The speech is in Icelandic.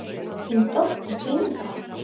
Þín dóttir, Inga.